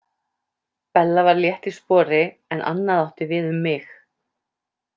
Bella var létt í spori en annað átti við um mig.